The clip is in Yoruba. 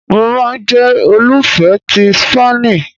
Mo ma n jẹ olufẹ ti Spani